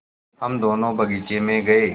हम दोनो बगीचे मे गये